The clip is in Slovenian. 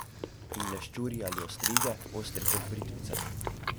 In leščurji ali ostrige, ostri kot britvice.